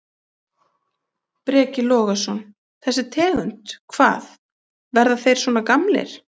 Breki Logason: Þessi tegund, hvað, verða þeir svona gamlir?